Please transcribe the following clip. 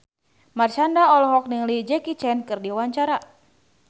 Marshanda olohok ningali Jackie Chan keur diwawancara